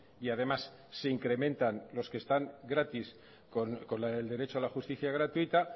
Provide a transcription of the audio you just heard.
y además se incrementan los que están gratis con el derecho a la justicia gratuita